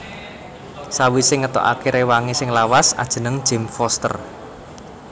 Sawisé ngetokaké réwangé sing lawas ajeneng James Foster